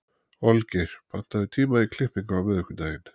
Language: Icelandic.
Olgeir, pantaðu tíma í klippingu á miðvikudaginn.